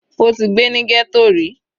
Ó ti gbé ní ghetto ríi.